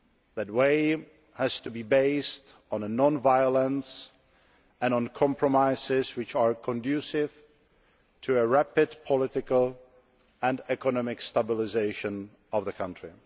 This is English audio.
That way has to be based on non violence and on compromises which are conducive to rapid political and economic stabilisation of the country.